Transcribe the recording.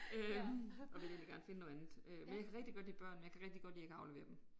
Øh okay jeg vil gerne finde noget andet. Øh men jeg kan rigtig godt lide børn men jeg kan rigtig godt lige ikke at aflevere dem